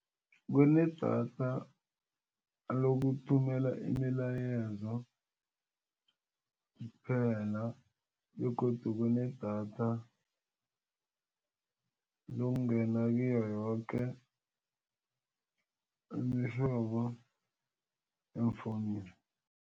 Kunedatha lokuthumela imilayezo kuphela begodu kunedatha lokungena kiyo yoke imihlobo eemfowunini.